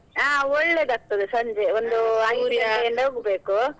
ಹಾ ಒಳ್ಳೇದಾಗ್ತದೆ ಸಂಜೆ ಒಂದು ಹೋಗ್ಬೇಕು.